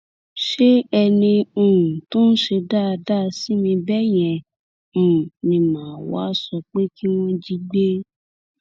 ṣé ẹni um tó ń ṣe dáadáa sí mi bẹẹ yẹn um ni mà á wáá sọ pé kí wọn jí gbé